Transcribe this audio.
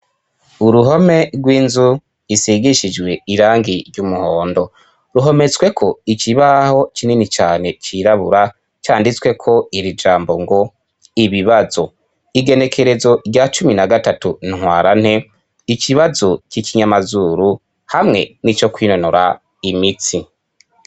Uruhome rw'inzu isigishijwe irangi ry'umuhondo, ruhometsweko ikibaho kinini cane cirabura canditsweko iri jambo ngo: ibibazo, igenekerezo rya cumi na gatatu Ntwarante, ikibazo c'ikinyamazuru hamwe n'ico kwinonora imitsi.